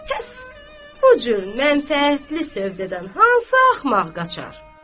Həss, bu cür mənfəətli sövdədən hansı axmaq qaçar?